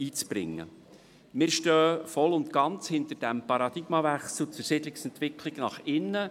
Wir stehen voll und ganz hinter dem Paradigmenwechsel zur Siedlungsentwicklung nach innen.